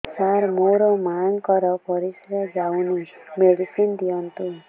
ସାର ମୋର ମାଆଙ୍କର ପରିସ୍ରା ଯାଉନି ମେଡିସିନ ଦିଅନ୍ତୁ